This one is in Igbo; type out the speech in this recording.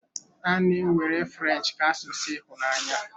A na-ewere French ka asụsụ ịhụnanya.